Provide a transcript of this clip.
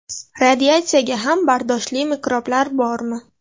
Radiatsiyaga ham bardoshli mikroblar bormi ?